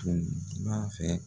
Tun b'a fɛ yan